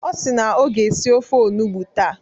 Ọ si na ọ ga-esi ofe onugbo taa.